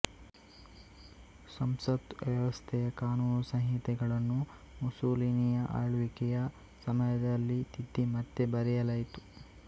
ಸಂಸತ್ ವ್ಯವಸ್ಥೆಯ ಕಾನೂನು ಸಂಹಿತೆಗಳನ್ನು ಮುಸೊಲಿನಿಯ ಆಳ್ವಿಕೆಯ ಸಮಯದಲ್ಲಿ ತಿದ್ದಿ ಮತ್ತೆ ಬರೆಯಲಾಯಿತು